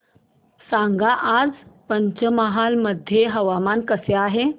सांगा आज पंचमहाल मध्ये हवामान कसे आहे